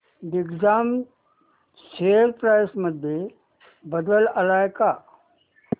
Digjam share price मध्ये बदल आलाय का